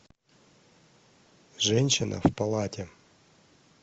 женщина в палате